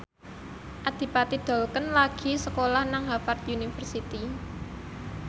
Adipati Dolken lagi sekolah nang Harvard university